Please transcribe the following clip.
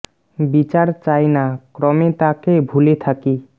বিচার চাই না ক্রমে তাঁকে ভুলে থাকি